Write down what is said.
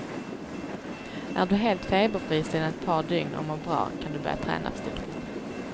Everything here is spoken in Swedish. Är du helt feberfri sedan ett par dygn och mår bra, kan du börja träna försiktigt.